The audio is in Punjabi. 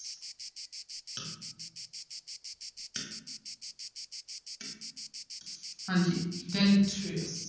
ਹਾਂਜੀ deleterious